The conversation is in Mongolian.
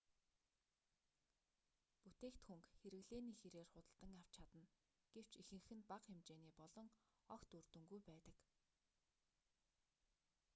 бүтээгдхүүнг хэрэглээний хирээр худалдан авч чадна гэвч ихэнх нь бага хэмжээний болон огт үр дүнгүй байдаг